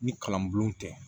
Ni kalan bulon tɛ